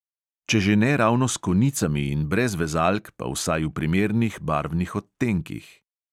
Če že ne ravno s konicami in brez vezalk, pa vsaj v primernih barvnih odtenkih.